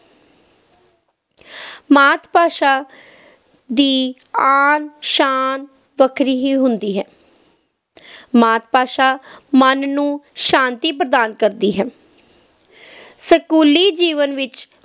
ਮਾਤ-ਭਾਸ਼ਾ ਦੀ ਆਨ, ਸ਼ਾਨ ਵੱਖਰੀ ਹੀ ਹੁੰਦੀ ਹੈ ਮਾਤ-ਭਾਸ਼ਾ ਮਨ ਨੂੰ ਸ਼ਾਤੀ ਪ੍ਰਦਾਨ ਕਰਦੀ ਹੈ ਸਕੂਲੀ ਜੀਵਨ ਵਿੱਚ